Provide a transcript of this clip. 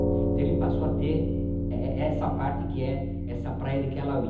Então ele passou a ter eh eh essa parte que é essa praia de Kelawi.